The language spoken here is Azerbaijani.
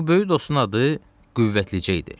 Bu böyük dostun adı Qüvvəticə idi.